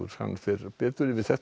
fer betur yfir þetta